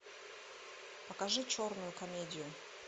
покажи черную комедию